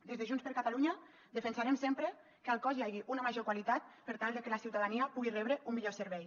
des de junts per catalunya defensarem sempre que al cos hi hagi una major qualitat per tal de que la ciutadania pugui rebre un millor servei